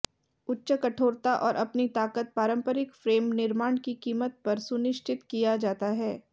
उच्च कठोरता और अपनी ताकत पारंपरिक फ्रेम निर्माण की कीमत पर सुनिश्चित किया जाता है